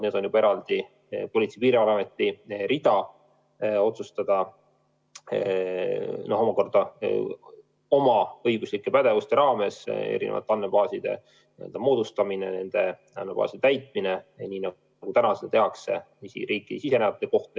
See on eraldi Politsei- ja Piirivalveameti rida otsustada oma õiguslike pädevuste raames eri andmebaaside moodustamise üle ja nende andmebaaside täitmine nii, nagu seda tehakse riiki sisenejate kohta.